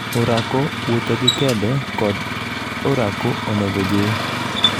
orako, wuotho gi kede kod orako onego ojiw